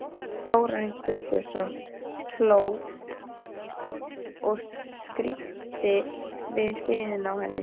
Þórarinn Guðbjörnsson hló og skríkti við hliðina á henni.